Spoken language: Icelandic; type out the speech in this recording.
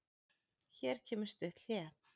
Hér kemur stutt hlé.